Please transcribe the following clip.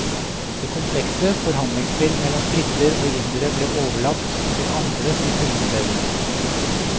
Det komplekse forhandlingsspill mellom briter og indere ble overlatt til andre som kunne det bedre.